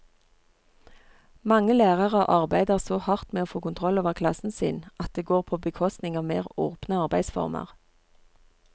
Mange lærere arbeider så hardt med å få kontroll over klassen sin at det går på bekostning av mer åpne arbeidsformer.